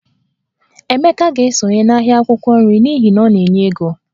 Emeka ga-esonye n'ahịa akwụkwọ nri n'ihi na ọ na-enye ego